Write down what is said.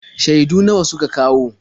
Shaidu nawa suka kawo?